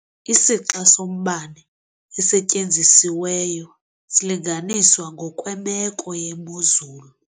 Isixa sombane osetyenzisiweyo silinganiswa ngokwemeko yemozulu.